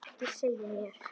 Ekki segja mér,